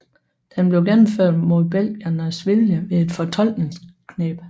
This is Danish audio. Den blev gennemført mod belgiernes vilje ved et fortolkningskneb